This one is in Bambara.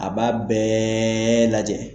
A b'a bɛɛɛɛɛ lajɛ.